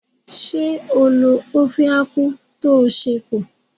Ṣé o lo ófé ákwú tó ṣẹ́ kù?